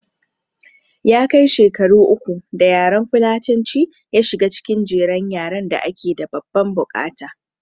Ya kai shekaru uku da yaran fulatanci ya shiga cikin jerin yaran da ake da babban bukata